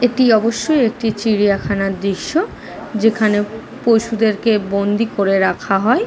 একটি অবশ্যই একটি চিড়িয়াখানার দৃশ্য যেখানে পশুদেরকে বন্দি করে রাখা হয় --